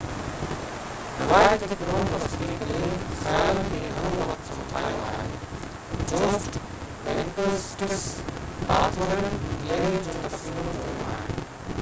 روايتي قرون وسطي قلعي خيالن کي گهڻو وقت همٿايو آهي جوسٽ بينڪوئيٽس ۽ آرٿورين دليري جون تصويرون جوڙيون آهن